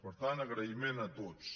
per tant agraïment a tots